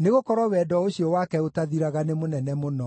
nĩgũkorwo wendo ũcio wake ũtathiraga nĩ mũnene mũno.